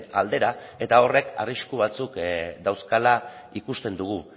aldera eta horrek arrisku batzuk dauzkala ikusten dugu